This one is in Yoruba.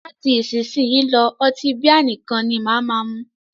Láti isísìnyí lọ́, ọtí bíà nìkan ni máà mú.